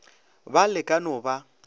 ba le ka no ba